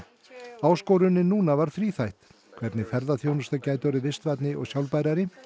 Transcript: áskorunin núna var þríþætt hvernig ferðaþjónusta gæti orðið vistvænni og sjálfbærari